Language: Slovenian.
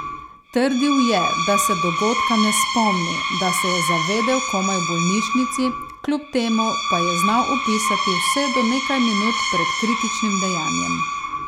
Trdil je, da se dogodka ne spomni, da se je zavedel komaj v bolnišnici, kljub temu, pa je znal opisati vse do nekaj minut pred kritičnim dejanjem.